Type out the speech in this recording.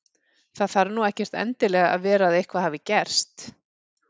Það þarf nú ekkert endilega að vera að eitthvað hafi gerst.